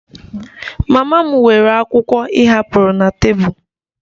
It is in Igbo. Mama m weere akwụkwọ ị hapụrụ na tebụl